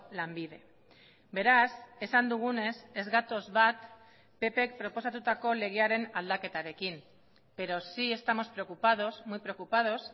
lanbide beraz esan dugunez ez gatoz bat ppk proposatutako legearen aldaketarekin pero sí estamos preocupados muy preocupados